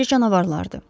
Məncə canavarlardır.